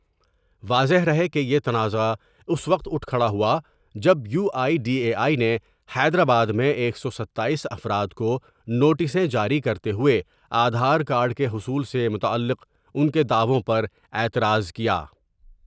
واضح رہے کہ یہ تنازعہ اس وقت اٹھ کھڑا ہوا جب U I D A I نے حیدرآباد میں ایک سو ستاییس افرادکونوٹسیں جاری کرتے ہوۓ آدھار کارڈ کے حصول سے متعلق ان کے دعووں پر اعتراض کیا ۔